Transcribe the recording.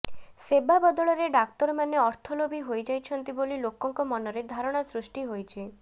ସେବା ବଦଳରେ ଡାକ୍ତର ମାନେ ଅର୍ଥଲୋଭୀ ହୋଇଯାଇଛନ୍ତି ବୋଲି ଲୋକଙ୍କ ମନରେ ଧାରଣା ସୃଷ୍ଟି ହୋଇଛି